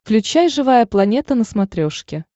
включай живая планета на смотрешке